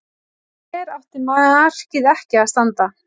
Fyrir mér átti markið ekki að standa.